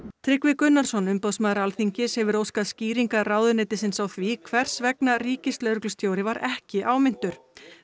Tryggvi Gunnarsson umboðsmaður Alþingis hefur óskað skýringa ráðuneytisins á því hvers vegna ríkislögreglustjóri var ekki áminntur